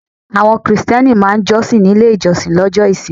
Àwọn Krìsìtẹ́nì máa jọ́sìn nílé ìjọsìn lọ́jọ́ ìsinmi.